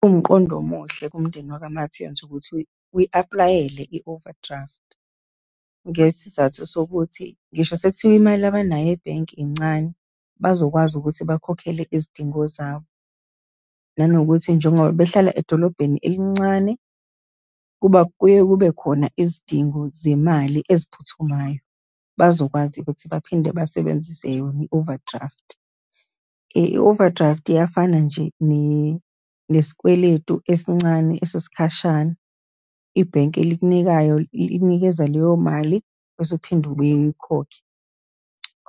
Kuwumqondo omuhle kumndeni wakwa-Martens ukuthi uyi-aplayele i-overdraft, ngesizathu sokuthi ngisho sekuthiwa imali abanayo ebhenki incane, bazokwazi ukuthi bakhokhele izidingo zabo, nanokuthi njengoba behlala edolobheni elincane, kuba, kuye kube khona izidingo zemali eziphuthumayo, bazokwazi ukuthi baphinde basebenzise yona i-overdraft. I-overdraft iyafana nje nesikweletu esincane esesikhashana, ibhenki elikunikayo, ikunikeza leyo mali, bese uphinde ubuye uyikhokhe.